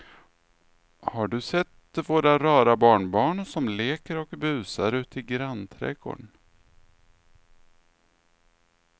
Har du sett våra rara barnbarn som leker och busar ute i grannträdgården!